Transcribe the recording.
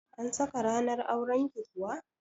An saka ranar auran ki kuwa?